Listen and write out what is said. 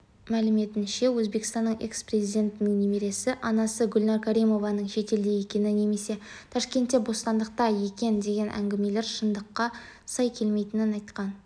мәліметінше өзбекстанның экс-президентінің немересі анасы гүлнәр каримованың шетелде екені немесе ташкентте бостандықта екен деген әңгімелер шындыққа сай келмейтінін айтқан